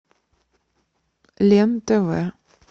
лен тв